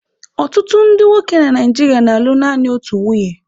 Ọtụtụ ndị nwoke na nigeria na-alụ naanị otu nwunye.